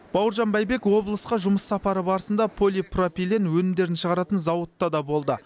бауыржан байбек облысқа жұмыс сапары барысында полипропилен өнімдерін шығаратын зауытта да болды